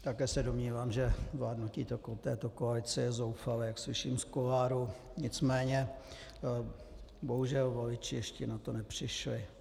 Také se domnívám, že vládnutí této koalice je zoufalé, jak slyším z kuloárů, nicméně bohužel voliči ještě na to nepřišli.